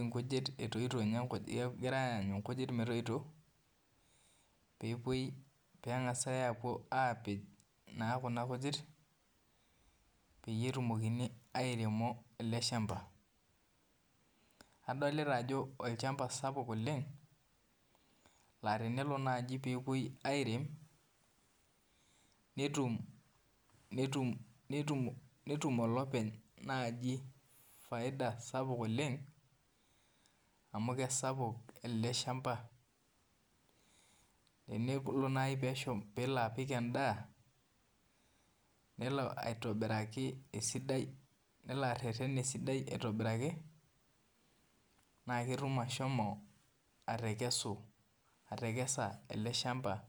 nkujit etoito nye, kegirai aanyu nkujit metoito peepuo pengasa apuo apej kuna kujit petumokini aterem eleshamba adolta ajo olchamba sapuk oleng na tenelo nai nepuoi arem netum olopeny faida sapuk oleng amu kesapuk ele shamba nelo areren esidai aitobiraki na ketum ashomo atekesa ele shamba